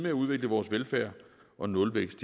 at udvikle vores velfærd og nulvækst